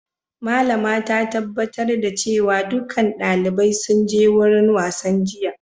Malama ta tabbatar da cewa dukkan dalibai sun je wurin wasan jiya.